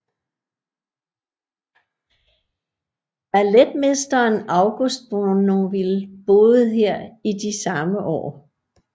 Balletmesteren August Bournonville boede her i de samme år